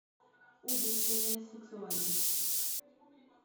убийственная сексуальность